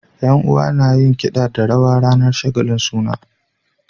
Yan uwa nayin kida da rawa ranar shagalin suna